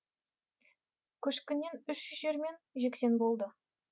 көшкіннен үш үй жермен жексен болды